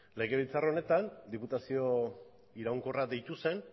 legebiltzar honetan diputazio iraunkorra deitu zen